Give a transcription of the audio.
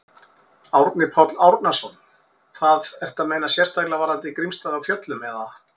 Árni Páll Árnason: Það, ertu að meina sérstaklega varðandi Grímsstaði á Fjöllum, eða?